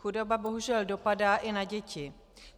Chudoba bohužel dopadá i na děti.